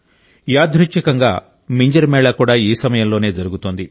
యాదృచ్ఛికంగా మింజర్ మేళా కూడా ఈ సమయంలోనే జరుగుతోంది